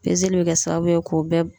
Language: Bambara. bɛ kɛ sababu ye k'o bɛɛ